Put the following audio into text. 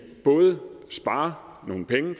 både spare nogle penge